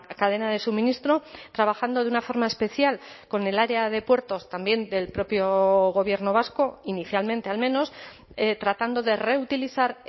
cadena de suministro trabajando de una forma especial con el área de puertos también del propio gobierno vasco inicialmente al menos tratando de reutilizar